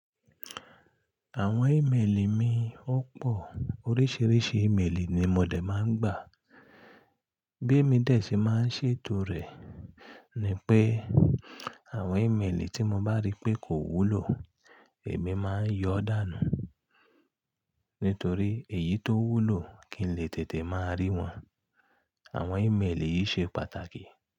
Àwọn ímeèlì mi ó pò, oríṣìíríṣìí ímeèlì ni mo dé máa ń gbà. Bí émi dé tí máa ń ṣe ètò rẹ̀ ni pé àwọn ímeèlì tí mo bá rí pé kò wúlò, èmi máa ń yọ dànù nítorí èyí tó wúlò kí n lè tètè máa rí wọn. Àwọn ímeèlì yìí ṣe pàtàkì.